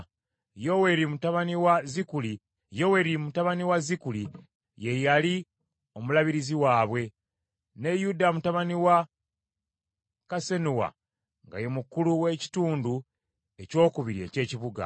Yoweeri mutabani wa Zikuli ye yali omulabirizi waabwe, ne Yuda mutabani wa Kassenuwa nga ye mukulu w’Ekitundu Ekyokubiri eky’ekibuga.